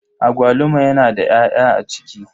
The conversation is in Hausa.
Agwaluma yana da 'ya'ya a ciki.